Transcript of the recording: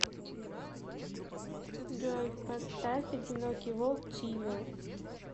джой поставь одинокий волк тимур